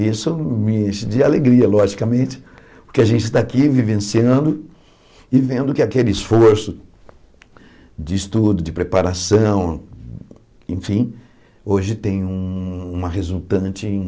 E isso me enche de alegria, logicamente, porque a gente está aqui vivenciando e vendo que aquele esforço de estudo, de preparação, enfim, hoje tem uma resultante em...